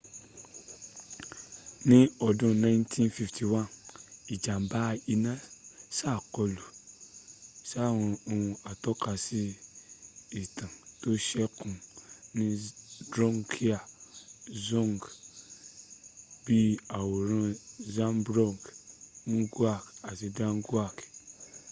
ní ọdún 1951 ìjàm̀bá iná sàkọlù sáwọn ohun atọ́kasí ìtàn tó sẹ́kù ní drukgyal dzong bí i àwòrán zhabdrung ngawang namgyal